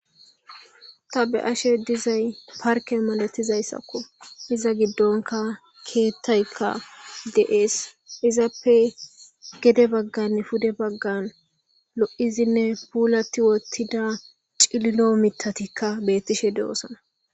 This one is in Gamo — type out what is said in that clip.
Ta be ashe dizay parke malatizayssakko iza giddonka keettaykka deees izappe gede baggan pude baggan lo7izinne puulati wottida cillo mitatikka beettishe de7osana